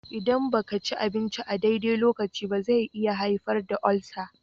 Idan ba ka ci abinci a daidai lokacin ba, zai iya haifar da ulcer